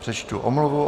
Přečtu omluvu.